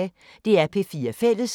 DR P4 Fælles